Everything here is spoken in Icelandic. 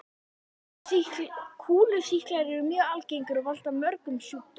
Kúlusýklar eru mjög algengir og valda mörgum sjúkdómum.